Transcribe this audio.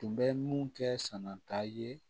Tun bɛ mun kɛ sanata ye